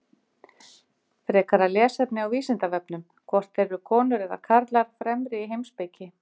Frekara lesefni á Vísindavefnum: Hvort eru konur eða karlar fremri í heimspeki?